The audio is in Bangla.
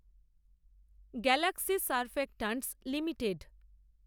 Galaxy Surfactants limited